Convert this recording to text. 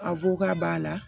A ko k'a b'a la